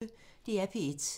DR P1